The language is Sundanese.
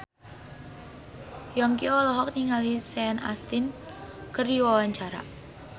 Yongki olohok ningali Sean Astin keur diwawancara